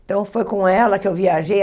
Então, foi com ela que eu viajei.